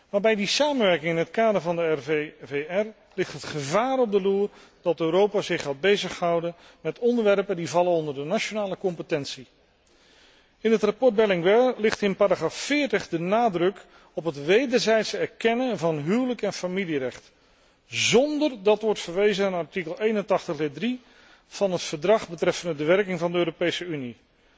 Maar bij de samenwerking in het kader van de RVVR ligt het gevaar op de loer dat Europa zich gaat bezighouden met onderwerpen die vallen onder de nationale bevoegdheid. In het verslag Berlinguer ligt in paragraaf 40 de nadruk op het wederzijds erkennen van het huwelijks en familierecht, zonder dat wordt verwezen naar artikel 81, lid 3, van het Verdrag betreffende de werking van de Europese Unie.